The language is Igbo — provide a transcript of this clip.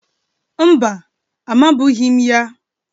Mba, amabụghị m ya